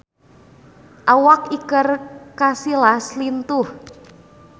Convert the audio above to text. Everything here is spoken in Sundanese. Awak Iker Casillas lintuh